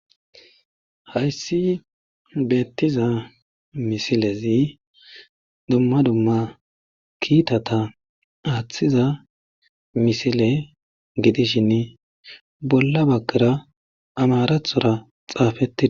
hayssi beettiza misilezi dumma dumma kiitata aaththiza misile gidishinn bolla baggara amarathora xaafettii